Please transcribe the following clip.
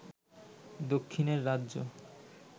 দক্ষিণের রাজ্য